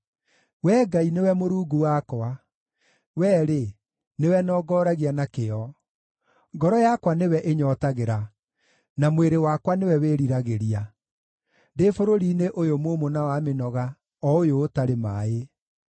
Wee Ngai, nĩwe Mũrungu wakwa, Wee-rĩ, nĩwe nongoragia na kĩyo; ngoro yakwa nĩwe ĩnyootagĩra, na mwĩrĩ wakwa nĩwe wĩriragĩria, ndĩ bũrũri-inĩ ũyũ mũũmũ na wa mĩnoga, o ũyũ ũtarĩ maaĩ.